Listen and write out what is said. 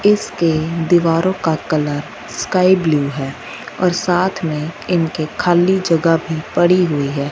इसके दीवारों का कलर स्काई ब्लू है और साथ में इनके खाली जगह भी पड़ी हुईं हैं।